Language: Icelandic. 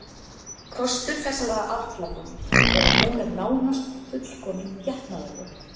Kostur þessarar aðgerðar er að hún er nánast fullkomin getnaðarvörn.